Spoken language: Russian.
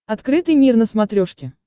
открытый мир на смотрешке